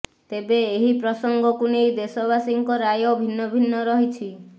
ତେବେ ଏହି ପ୍ରସଙ୍ଗକୁ ନେଇ ଦେଶବାସୀଙ୍କ ରାୟ ଭିନ୍ନ ଭିନ୍ନ ରହିଛି